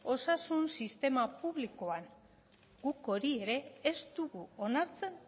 osasun sistema publikoan guk hori ere ez dugu onartzen